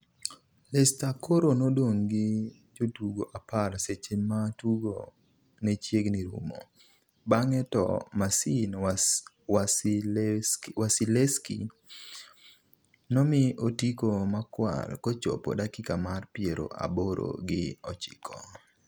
Leceister koro nodong' gi jotugo apar seche ma tugo nechiegni rumo, bang'e to Marcin Wasilewski nomi otiko makwar kochopo dakika mar piero aboro gi ochiko